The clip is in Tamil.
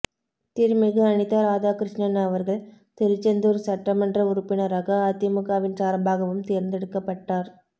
திருமிகு அனிதா ராதாகிருஷ்ணன் அவர்கள் திருச்செந்தூர் சட்டமன்ற உறுப்பினராக அதிமுகவின் சார்பாகவும் தேர்ந்தெடுக்கப்பட்டார்